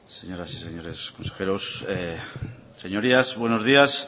señoras y señores consejeros señorías buenos días